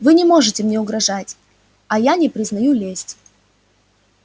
вы не можете мне угрожать а я не признаю лести